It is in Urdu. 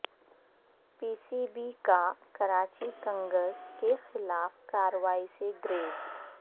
پی سی بی کا کراچی کنگز کیخلاف کارروائی سے گریز